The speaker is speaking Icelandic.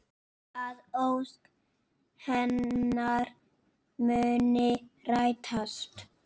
Að ósk hennar muni rætast.